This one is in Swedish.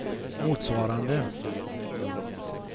motsvarande